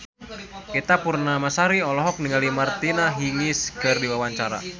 Ita Purnamasari olohok ningali Martina Hingis keur diwawancara